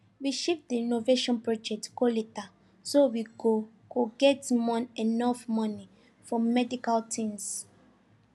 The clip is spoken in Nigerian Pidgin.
we shift the renovation project go later so we go go get enough money for medical things